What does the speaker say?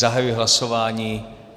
Zahajuji hlasování.